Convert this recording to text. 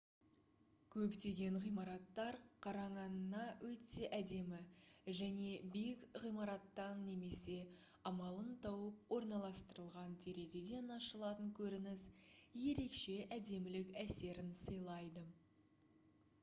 көптеген ғимараттар қараңанңа өте әдемі және биік ғимараттан немесе амалын тауып орналастырылған терезеден ашылатын көрініс ерекше әдемілік әсерін сыйлайды